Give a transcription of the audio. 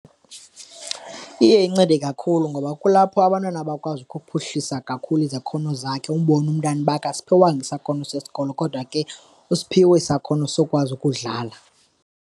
Iye incede kakhulu ngoba kulapho abantwana bakwazi ukuphuhlisa kakhulu izakhono zakhe umbone umntana uba akasiphiwanga isakhono sesikolo kodwa ke usiphiwe isakhono sokukwazi ukudlala.